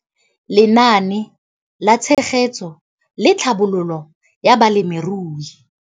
Lenaane la Tshegetso le Tlhabololo ya Balemirui.